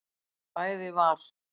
Bæði var